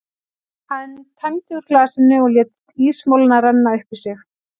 Hann tæmdi úr glasinu og lét ísmolann renna upp í sig.